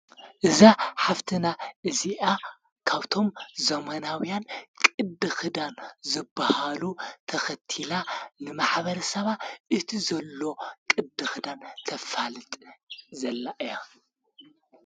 እዛ ሓፍትና እዚኣ ካብቶም ዞማናውያን ቕድ ኽዳን ዘብሃሉ ተኽቲላ ንማኅበር ሰባ እቲ ዘሎ ቕድ ኽዳን ተፋልጥ ዘላ እያ።